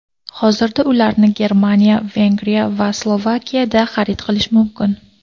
Hozirda ularni Germaniya, Vengriya va Slovakiyada xarid qilish mumkin.